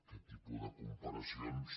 aquest tipus de comparacions